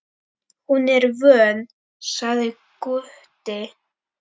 Hún er vön, sagði Gutti.